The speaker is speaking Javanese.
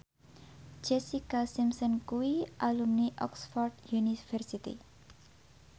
Jessica Simpson kuwi alumni Oxford university